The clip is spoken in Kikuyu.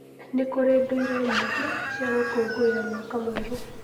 Nĩ kũrĩ ndũire nyingĩ cia gũkũngũĩra mwaka mwerũ.